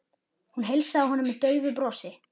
Hún heilsaði honum með daufu brosi.